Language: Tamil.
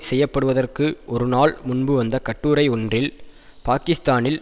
செய்ய படுவதற்கு ஒரு நாள் முன்பு வந்த கட்டுரை ஒன்றில் பாக்கிஸ்தானில்